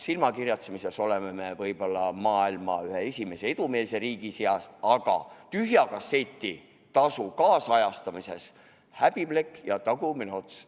Silmakirjatsemises oleme me võib-olla maailma edumeelseimate riikide seas, aga tühja kasseti tasu ajakohastamise poolest häbiplekk ja tagumine ots.